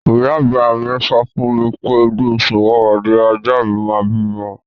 Ìyá àgbà mi sọ fún mi pé inú oṣù Ọ̀wàwà ni ajá mi máa bímọ.